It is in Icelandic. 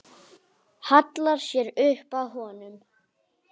Hallar sér upp að honum.